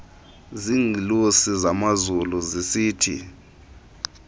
ziingelosi zamazulu zisithi